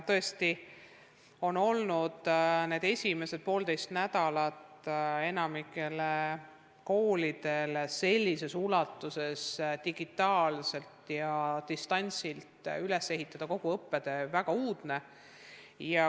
Tõesti on olnud need esimesed poolteist nädalat enamikule koolidele raske – sellises ulatuses digitaalselt ja distantsilt üles ehitada kogu õppetöö on väga uudne.